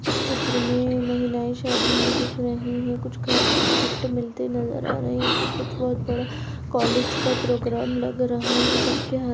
इस चित्र मे महिलाएं शादी मे दिख रही हैं कुछ घ कुछ गिफ्ट मिलते नज़र आ रहे हैं तो कुछ बहुत बड़ा कॉलेज का प्रोग्राम लग रहा है सबके हाथ --